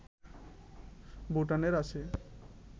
ভুটানের আছে